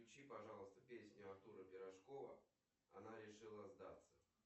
включи пожалуйста песню артура пирожкова она решила сдаться